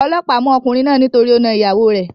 Olóòpá mú okùnrin náà nítorí o na ìyàwo rè